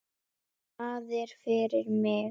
Staðir fyrir mig.